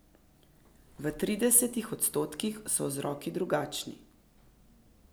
V tridesetih odstotkih so vzroki drugačni.